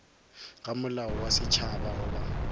ga molao wa setšhaba goba